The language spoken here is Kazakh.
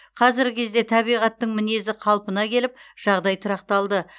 қазіргі кезде табиғаттың мінезі қалпына келіп жағдай тұрақталды